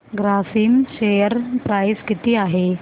Grasim share price किती आहे